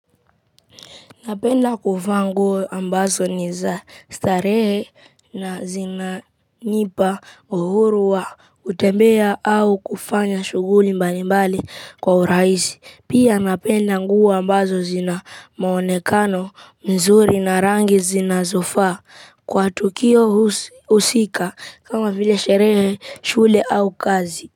Napenda kuvaa nguo ambazo ni za starehe na zina nipa uhuru wa kutembea au kufanya shughuli mbalimbali kwa urahisi. Pia napenda nguo ambazo zina mwonekano nzuri na rangi zinazofaa kwa tukio husika kama vile sherehe, shule au kazi.